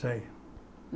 Sei.